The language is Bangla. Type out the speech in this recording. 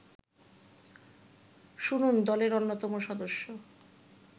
শুনুন দলের অন্যতম সদস্য